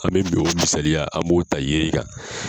An bɛ o misaliya an b'o ta yen kan.